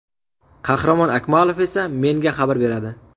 Qahramon Akmalov esa menga xabar beradi.